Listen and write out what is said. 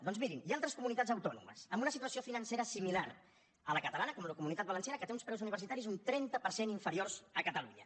doncs mirin hi ha altres comunitats autònomes amb una situació financera similar a la catalana com la comunitat valenciana que té uns preus universitaris un trenta per cent inferiors a catalunya